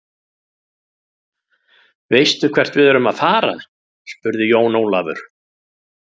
Veistu hvert við erum að fara, spurði Jón Ólafur.